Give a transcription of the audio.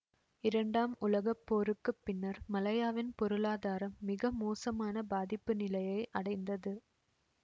இரண்டாம் உலக போருக்கு பின்னர் மலாயாவின் பொருளாதாரம் மிக மோசமான பாதிப்பு நிலையை அடைந்தது